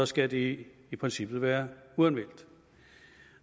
skal det i princippet være uanmeldt